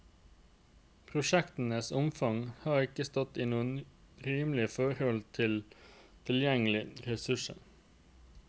Prosjektenes omfang har ikke stått i noe rimelig forhold til tilgjengelige ressurser.